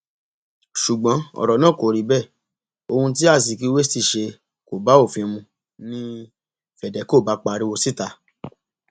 ṣùgbọn ọrọ náà kò rí bẹẹ ohun tí azikiwe ṣì ṣe kò bá òfin mu ni fedeco bá pariwo síta